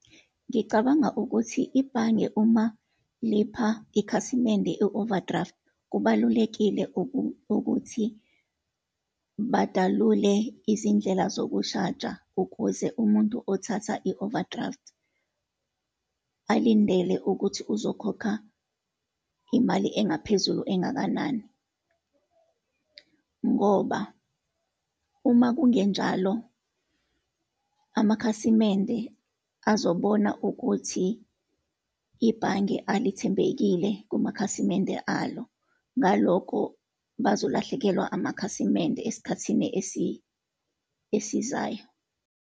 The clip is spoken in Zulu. Ngicabanga ukuthi ibhange uma lipha ikhasimende i-overdraft, kubalulekile ukuthi badalule izindlela zokushaja ukuze umuntu othatha i-overdraft alindele ukuthi uzokhokha imali engaphezulu engakanani. Ngoba uma kungenjalo, amakhasimende azobona ukuthi ibhange alithembekile kumakhasimende alo, ngalokho bazolahlekelwa amakhasimende esikhathini esizayo.